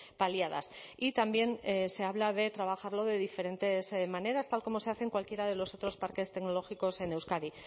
paliadas y también se habla de trabajarlo de diferentes maneras tal como se hace en cualquiera de los otros parques tecnológicos en euskadi